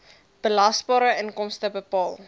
belasbare inkomste bepaal